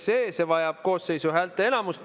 See vajab koosseisu häälteenamust.